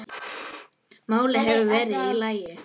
málin hefðu verið í lagi.